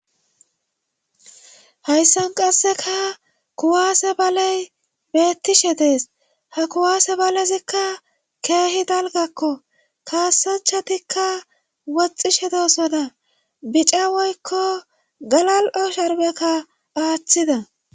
Hayssan qasseka kuwaase baley beettishe dees ha kuwaase balezikka keehi dalgakko kaassachatikka woxxishe doosona bica woykko galal,o sharbekka aaththida.